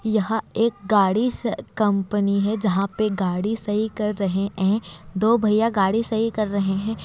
यहाँ एक गाड़ी स कंपनी है जहां पर गाड़ी सही कर रहे हैं। दो भैया गाड़ी सही कर रहे हैं।